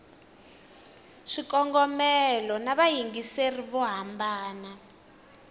swikongomelo na vayingiseri vo hambana